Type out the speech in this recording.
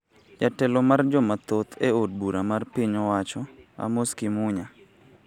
Jatelo mar joma thoth e od bura mar piny owacho Amos Kimunya